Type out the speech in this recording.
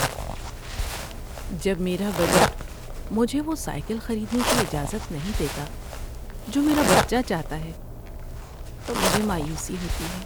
جب میرا بجٹ مجھے وہ سائیکل خریدنے کی اجازت نہیں دیتا جو میرا بچہ چاہتا ہے تو مجھے مایوسی ہوتی ہے۔